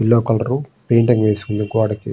Yellow colour రు painting వేసి ఉంది గోడకి.